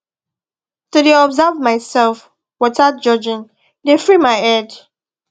to dey observe myself wothout judging dey free my head